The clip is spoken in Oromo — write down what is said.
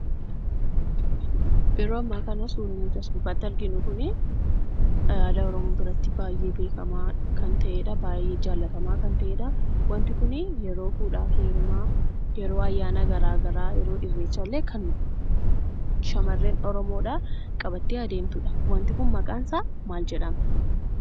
yeroo amma kana suuraan as gubbaatti arginu kunii, aadaa Oromoo biratti baay'ee beekamaa kan ta'eedha. Baay'ee jaallatamaa kan ta'edha. Wanti kun yeroo fuudhaa fi heerumaa, yeroo ayyaana garaagaraa, yeroo irreechaa kan shamarran oromoodhaa qabattee adeemtuudha. wanti kun maqaan isaa maal jedhama?